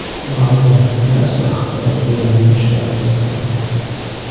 Ma’lumot to‘plash va axborot hujumlari tushunarsiz bo‘lmoqda.